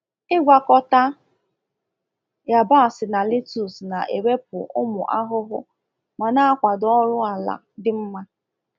Ịgwakọta yabasị na letus na-ewepụ ụmụ ahụhụ ma na-akwado ọrụ ala dị mma.